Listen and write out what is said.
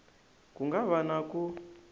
ku nga va na ku